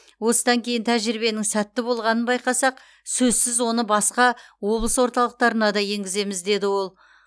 осыдан кейін тәжірибенің сәтті болғанын байқасақ сөзсіз оны басқа облыс орталықтарына да енгіземіз деді ол